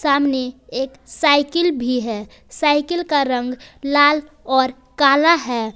सामने एक साइकिल भी है साइकिल का रंग लाल और काला है।